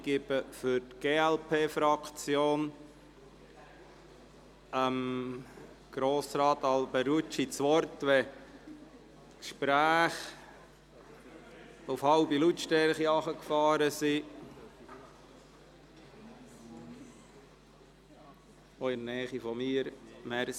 Ich erteile das Wort Grossrat Alberucci für die glp-Fraktion, sobald die Gespräche auf halbe Lautstärke heruntergefahren worden sind – auch in meiner Nähe.